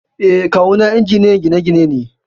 Eh, Kawu na injiniyan gine-gine ne.